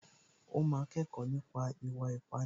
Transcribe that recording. Ó máa kẹ́kọ̀ọ́ nípa ìwà ìpánìyàn